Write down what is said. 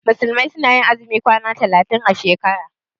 Musulmai su na yin azumin kwana talatin a shekara